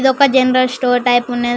ఇదొక general store type ఉన్నది.